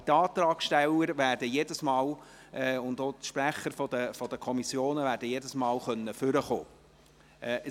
Aber die Antragsteller und die Sprecher der Kommissionen werden jedes Mal nach vorne kommen können.